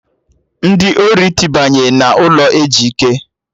Ndị ori tibanye n'ụlọ Ejike